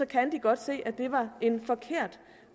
kan de godt se at det var en forkert